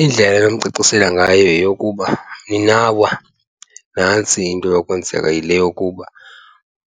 Indlela endimcacisela ngayo yeyokuba mninawo nantsi into enokwenzeka yile yokuba